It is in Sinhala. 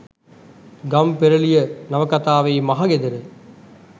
ගම්පෙරළිය නවකතාවේ මහගෙදර